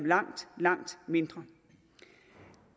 langt langt mindre